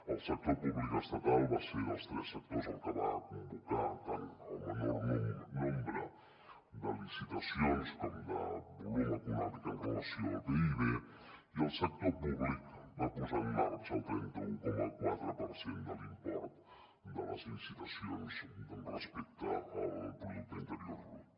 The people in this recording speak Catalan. el sector públic estatal va ser dels tres sectors el que va convocar tant el menor nombre de licitacions com de volum econòmic amb relació al pib i el sector públic va posar en marxa el trenta un coma quatre per cent de l’import de les licitacions respecte al producte interior brut